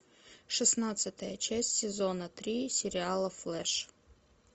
шестнадцатая часть сезона три сериала флэш